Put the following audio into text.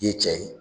I ye cɛ ye